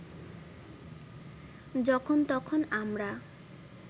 যখন তখন আমরা